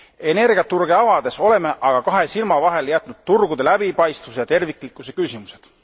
Energiaturge avades oleme aga kahe silma vahele jätnud turgude läbipaistvuse ja terviklikkuse küsimused.